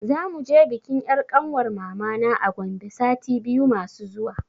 Za muje bikin 'yar kanwar mamana a Gombe sati biyu masu zuwa.